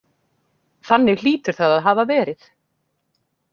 Þannig hlýtur það að hafa verið.